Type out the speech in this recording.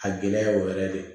A gɛlɛya o yɛrɛ de